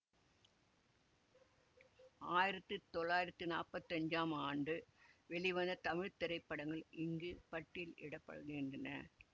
ஆயிரத்தி தொள்ளாயிரத்தி நாப்பத்தஞ்சாம் ஆண்டு வெளிவந்த தமிழ் திரைப்படங்கள் இங்கு பட்டியலிட படுகின்றன